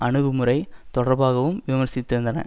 அணுகுமுறை தொடர்பாகவும் விமர்சித்திருந்தன